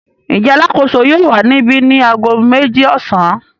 Ǹjẹ́ alákòóso yóò wà níbi ni ago méjì ọ̀sán?